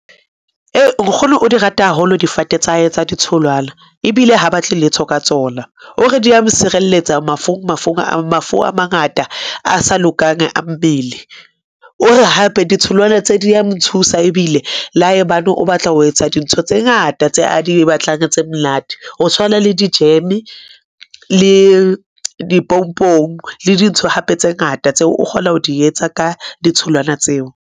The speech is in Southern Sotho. Ee, Nkgono o di rata haholo difate tsa hae tsa ditholwana, ebile ha batle letho ka tsona, O re di a sireletsa mafung a mafu a mangata a sa lokang a mmele. O re hape ditholwana tse di a mo thusa ebile le haebane o batla ho etsa dintho tse ngata tse a di batlang tse monate. Ho tshwana le dijeme le dipompong le dintho hape tse ngata tseo o kgona ho di etsa ka ditholwana tseo.